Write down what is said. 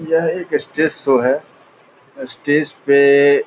यह एक stage show है स्टेज पे --